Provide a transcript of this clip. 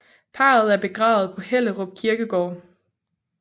Parret er begravet på Hellerup Kirkegård